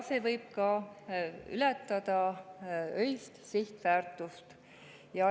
See võib ületada öist sihtväärtust.